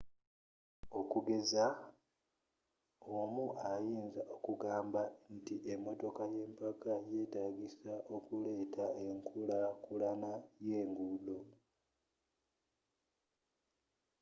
okugeza omu ayinza okugamba nti emotoka yempaka yeetagisa okuleeta enkula kulana y'enguudo